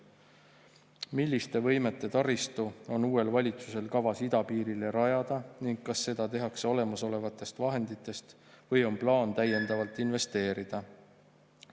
Milliste võimete taristu on uuel valitsusel kavas idapiirile rajada ning kas seda tehakse olemasolevatest vahenditest või on plaan täiendavalt investeerida?